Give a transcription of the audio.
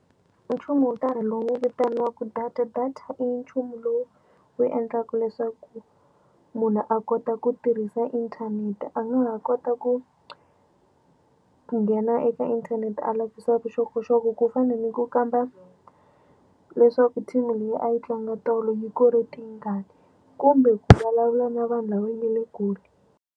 Nchumu wo karhi lowu vitaniwaku data data i nchumu lowu wu endlaku leswaku munhu a kota ku tirhisa internet a nga ha kota ku nghena eka internet a lavisisa vuxokoxoko ku fana ni ku kamba leswaku team leyi a yi tlanga tolo yi kore tingani kumbe ku vulavula na vanhu lava nga le kule.